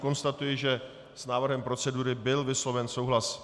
Konstatuji, že s návrhem procedury byl vysloven souhlas.